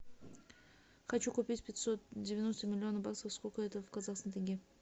хочу купить пятьсот девяносто миллионов баксов сколько это в казахских тенге